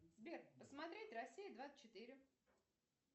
сбер посмотреть россия двадцать четыре